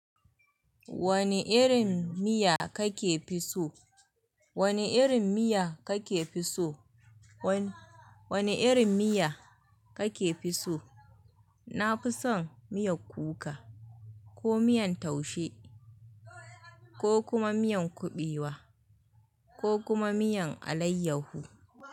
Wani irin miya kake fi so? Wane irin miya kake fi so? Wani irin miya kake fi so? Na fi son miyar kuka, ko miyan taushe, ko kuma miyan kuɓewa, ko kuma miyan alayyahu.